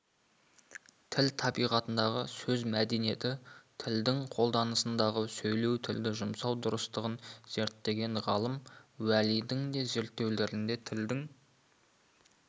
тіл табиғатындағы сөз мәдениетін тілдің қолданысындағы сөйлеу тілді жұмсау дұрыстығын зерттеген ғалым уәлидің де зерттеулерінде тілдің